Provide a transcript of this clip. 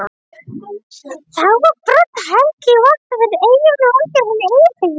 Þá var Brodd-Helgi í Vopnafirði, Eyjólfur Valgerðarson í Eyjafirði